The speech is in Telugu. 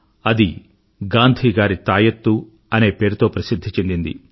అది గాంధీగారి తాయత్తు అనే పేరుతో పసిధ్ధి చెందింది